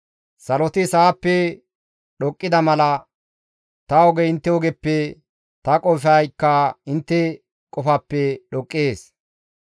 Saloti sa7appe dhoqqida mala, ta ogey intte ogeppe, ta qofaykka intte qofappe dhoqqees.